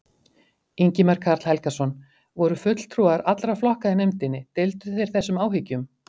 Ingimar Karl Helgason: Voru fulltrúar allra flokka í nefndinni, deildu þeir þessum áhyggjum?